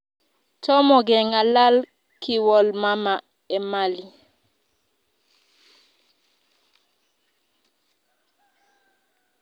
Tomokengalal kiwol mama Emali